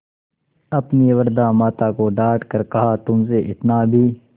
अपनी वृद्धा माता को डॉँट कर कहातुमसे इतना भी